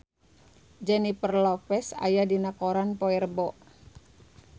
Jennifer Lopez aya dina koran poe Rebo